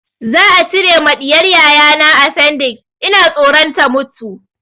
Za a cire ma ɗiyar yayana afendix, ina tsoron ta mutu.